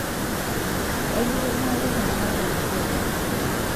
ekiimaki tunganak pookin toki